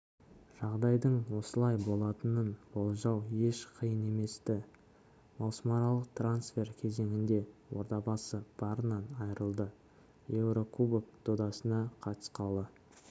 жағдайдың осылай болатынын болжау еш қиын емес-ті маусымаралық трансфер кезеңінде ордабасы барынан айырылды еурокубок додасына қатысқалы